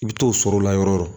I bɛ t'o sɔrɔ o la yɔrɔ o yɔrɔ